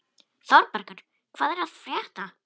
Þórbergur, hvað er að frétta?